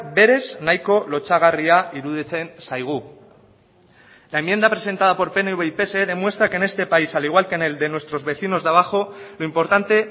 berez nahiko lotsagarria iruditzen zaigu la enmienda presentada por pnv y pse demuestra que en este país al igual que en el de nuestros vecinos de abajo lo importante